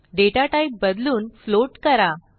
दाता type बदलून float करा